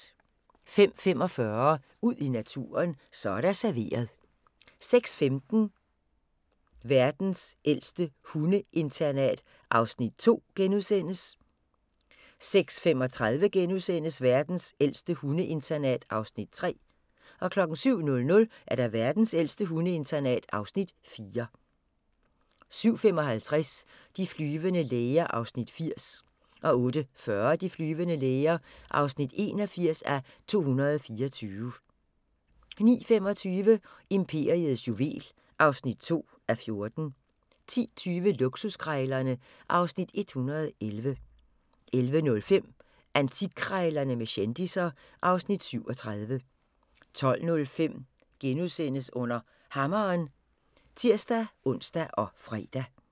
05:45: Ud i naturen: Så er der serveret 06:15: Verdens ældste hundeinternat (Afs. 2)* 06:35: Verdens ældste hundeinternat (Afs. 3)* 07:00: Verdens ældste hundeinternat (Afs. 4) 07:55: De flyvende læger (80:224) 08:40: De flyvende læger (81:224) 09:25: Imperiets juvel (2:14) 10:20: Luksuskrejlerne (Afs. 111) 11:05: Antikkrejlerne med kendisser (Afs. 37) 12:05: Under Hammeren *(tir-ons og fre)